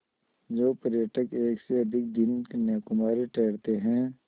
जो पर्यटक एक से अधिक दिन कन्याकुमारी ठहरते हैं